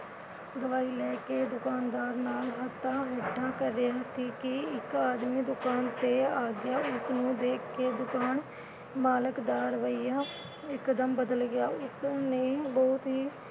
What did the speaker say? ਦਵਾਈ ਲੈ ਕੇ ਦੁਕਾਨਦਾਰ ਨਾਲ ਕਰਨ ਸੀ ਕਿ ਇਕ ਆਦਮੀ ਦੁਕਾਨ ਤੇ ਆ ਗਿਆ । ਉਸਨੂੰ ਦੇਖ ਕੇ ਦੁਕਾਨ ਮਾਲਕ ਦਾ ਰਵੱਈਆ ਇਕ ਦਮ ਬਦਲ ਗਿਆ। ਉਸਨੇ ਬਹੁਤ ਹੀ